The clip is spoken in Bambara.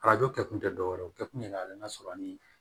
Arajo kɛ kun tɛ dɔ wɛrɛ ye o kɛ kun ye ka n'a sɔrɔ ni